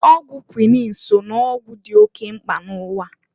Ọgwụ kwuinin so n'ọgwụ dị oke mkpa n'ụwa.